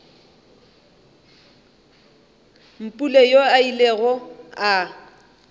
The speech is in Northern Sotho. mpule yoo a ilego a